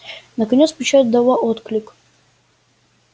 наконец печать дала отклик